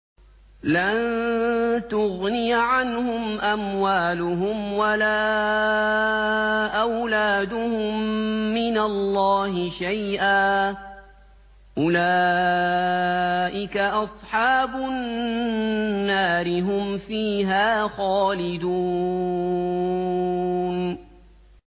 لَّن تُغْنِيَ عَنْهُمْ أَمْوَالُهُمْ وَلَا أَوْلَادُهُم مِّنَ اللَّهِ شَيْئًا ۚ أُولَٰئِكَ أَصْحَابُ النَّارِ ۖ هُمْ فِيهَا خَالِدُونَ